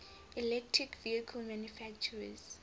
electric vehicle manufacturers